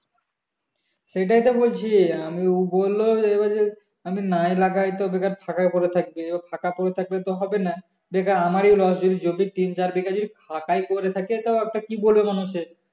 সেটাই তো বলছি আমি ও বললো যে এবার আমি নাই লাগায় তো বেকার ফাঁকাই পরে থাকবে এবার ফাঁকা পরে থাকলে তো হবে না বেকার আমারি loss যদি যদি তিন চার বিঘা ফাঁকাই পরে থাকে তো একটা কি বলবে মানুষে